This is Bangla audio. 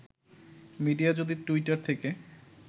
মিডিয়া যদি টুইটার থেকে